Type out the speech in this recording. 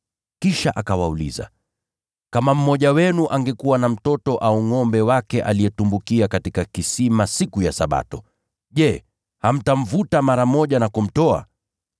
Kisha akawauliza, “Kama mmoja wenu angekuwa na mtoto au ngʼombe wake aliyetumbukia katika kisima siku ya Sabato, je, hamtamvuta mara moja na kumtoa?”